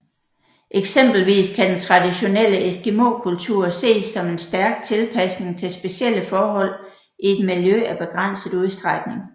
Eksempelvis kan den traditionelle eskimokultur ses som en stærk tilpasning til specielle forhold i et miljø af begrænset udstrækning